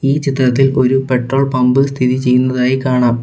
ഈ ചിത്രത്തിൽ ഒരു പെട്രോൾ പമ്പ് സ്ഥിതി ചെയ്യുന്നതായി കാണാം.